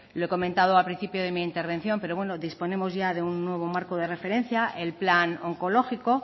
lo he comentado al principio de mi intervención pero bueno disponemos ya de un nuevo marco de referencia el plan oncológico